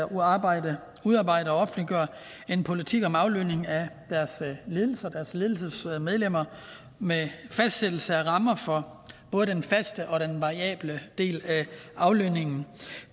udarbejde og offentliggøre en politik om aflønning af deres ledelser og deres ledelsesmedlemmer med fastsættelse af rammer for både den faste og den variable del af aflønningen